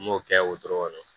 N m'o kɛ o dɔrɔn kɔnɔ